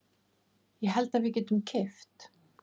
Ég held að við getum keypt.